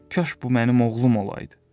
Kaş bu mənim oğlum olaydı.